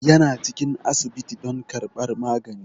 Yana cikin asibiti don karɓar magani.